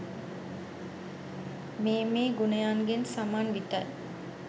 මේ මේ ගුණයන්ගෙන් සමන්විතයි.